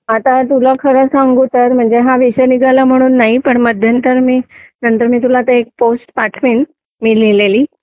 आता तुला खरं सांगू तर म्हणजे हा विषय निघाला म्हणून नाही पण मध्यंतरी मी नंतर तुला मी एक पोस्ट पाठवीन मी लिहिलेली